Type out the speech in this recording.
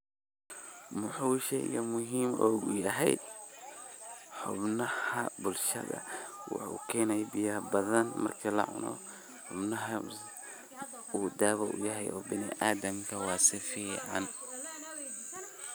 Maxuu sheeygan muhim ugu yahay xubnaha bulshada, waxuu geenahay beeya bathan marka na xubnaha oo dawo u yahay binaadamka wa sufican.